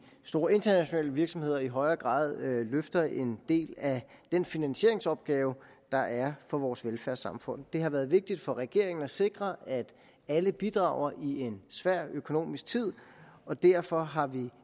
store internationale virksomheder i højere grad løfter en del af den finansieringsopgave der er for vores velfærdssamfund det har været vigtigt for regeringen at sikre at alle bidrager i en svær økonomisk tid og derfor har vi